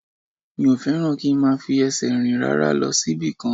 Mi ò fẹ́ràn kí n máa fi ẹsẹ̀ rìn rárá lọ síbì kan